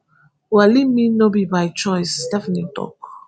welli mean no be by choice stephanie tok